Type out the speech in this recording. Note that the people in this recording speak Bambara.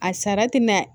A sara tɛ mɛn